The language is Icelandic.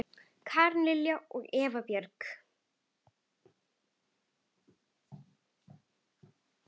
Karen Lilja og Eva Björk.